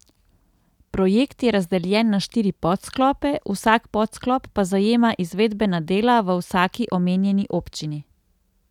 Projekt je razdeljen na štiri podsklope, vsak podsklop pa zajema izvedbena dela v vsaki omenjeni občini.